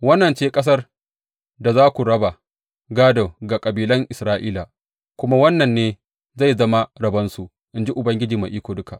Wannan ce ƙasar da za ku raba gādo ga kabilan Isra’ila, kuma wannan ne zai zama rabonsu, in ji Ubangiji Mai Iko Duka.